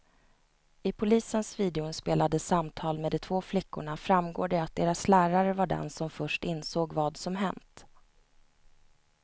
I polisens videoinspelade samtal med de två flickorna framgår det att deras lärare var den som först insåg vad som hänt.